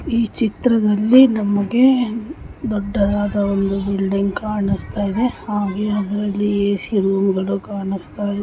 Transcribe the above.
ಈ ಚಿತ್ರದಲ್ಲಿ ನಮಗೆ ದೊಡ್ಡದಾದ ಒಂದು ಬಿಲ್ಡಿಂಗ್ ಕಾಣಿಸ್ತಾ ಇದೆ ಹಾಗೆ ಅದರಲ್ಲಿ ಏ _ಸೀ ರೂಮ್ ಗಳು ಕಾಣಿಸ್ತಾಯಿದೆ .